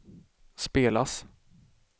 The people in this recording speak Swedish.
spelas